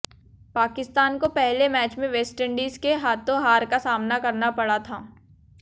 पाकिस्तान को पहले मैच में वेस्टइंडीज के हाथों हार का सामना करना पड़ा था